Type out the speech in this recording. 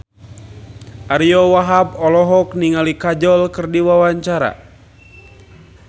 Ariyo Wahab olohok ningali Kajol keur diwawancara